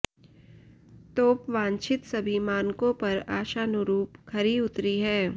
तोप वांछित सभी मानकों पर आशानुरूप खरी उतरी है